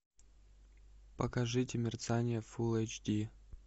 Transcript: покажите мерцание фул эйч ди